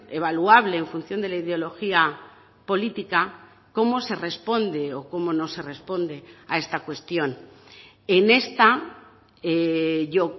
evaluable en función de la ideología política cómo se responde o cómo no se responde a esta cuestión en esta yo